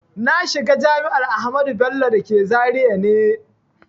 Na shiga jami'ar Ahmadu Bello da ke Zaria ne